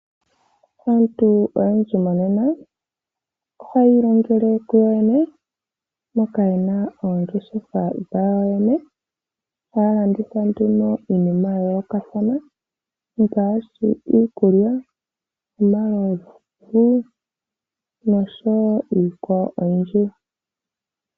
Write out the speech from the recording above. Aantu oyendji monene ohaya ilongele kuyoyene moka ye na oongeshefa dhawo kuyo yoyene ohaya landitha nduno iinima ya yoolokathana ngaashi iikulya, omalovu noshowo iikwawo oyindji.